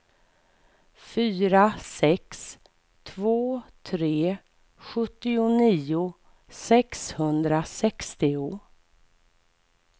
fyra sex två tre sjuttionio sexhundrasextio